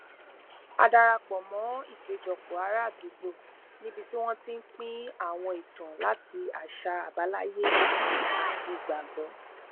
a darapọ mọ ìpéjọpọ ará àdúgbò níbi tí wọn ti n pín àwọn ìtàn láti àṣà àbáláyé àti ìgbàgbọ